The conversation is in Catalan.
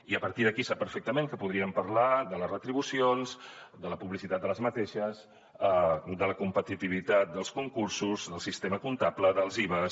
i a partir d’aquí sap perfectament que podríem parlar de les retribucions de la publicitat de les mateixes de la competitivitat dels concursos del sistema comptable dels ivas